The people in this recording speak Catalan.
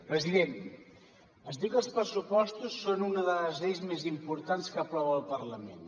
president es diu que els pressupostos són una de les lleis més importants que aprova el parlament